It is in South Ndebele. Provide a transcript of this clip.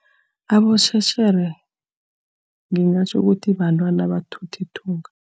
Abosotjherere ngingatjho ukuthi bantwana abathutha ithunga.